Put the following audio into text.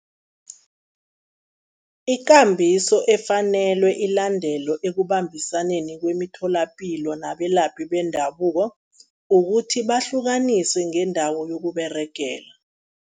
Ikambiso efanelwe ilandelwe ekubambisaneni kwemitholapilo nabelaphi bendabuko, ukuthi bahlukaniswe ngendawo yokUberegela.